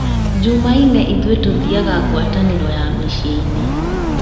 Jumaine ithuĩ tũthiaga ngwatanĩro ya mũciĩ-inĩ